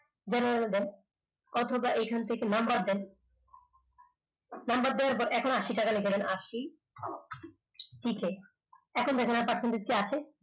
অথবা এখান থেকে number দেন number দিয়ে এখন আশি টাকা লিখে দেন আশি লিখে এখন দেখুন এখানে percentage কি আসে